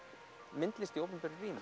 myndlist í opinberu rými